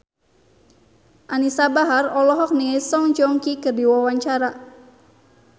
Anisa Bahar olohok ningali Song Joong Ki keur diwawancara